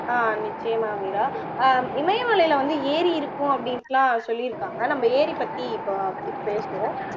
அஹ் நிச்சயமா மீரா அஹ் இமயமலைல வந்து ஏரி இருக்கும் அப்படின்னுலாம் சொல்லியிருக்காங்க நம்ப ஏரி பத்தி இப்ப இப்போ பேசுவோம்